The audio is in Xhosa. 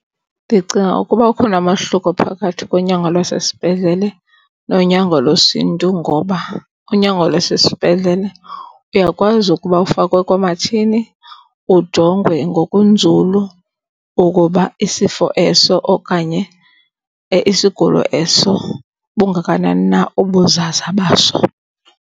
Ndicinga ukuba ukhona umahluko phakathi konyango lwasesibhedlele nonyango lwesiNtu ngoba unyango lwasesibhedlele uyakwazi ukuba ufakwe koomatshini ujongwe ngokunzulu ukuba isifo eso okanye isigulo eso bungakanani na ubuzaza baso.